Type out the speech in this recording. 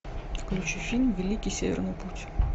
включи фильм великий северный путь